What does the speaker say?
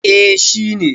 eh shi ne